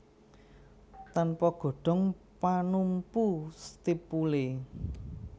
Tanpa godhong panumpu stipule